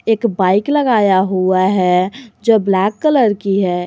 एक बाइक लगाया हुआ है जो ब्लैक कलर की है।